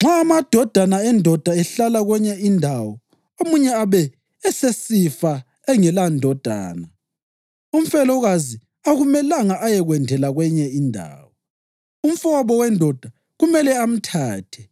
Nxa amadodana endoda ehlala kwenye indawo omunye abe esesifa engelandodana, umfelokazi akumelanga ayekwendela kwenye indawo. Umfowabo wendoda kumele amthathe